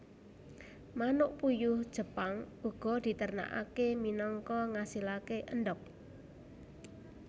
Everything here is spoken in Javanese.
Manuk puyuh Jepang uga diternakake minangka ngasilake endhog